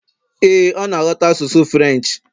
ee, ọ na ghọta asụsụ Firench